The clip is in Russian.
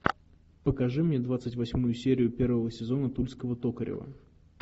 покажи мне двадцать восьмую серию первого сезона тульского токарева